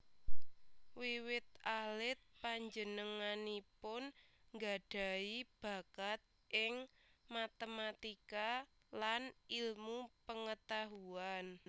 Wiwit alit panjenenganipun nggadhahi bakat ing matematika lan ilmu pangetahuan